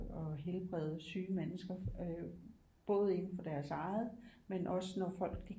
Helbrede syge mennesker både indenfor deres eget men også når folk de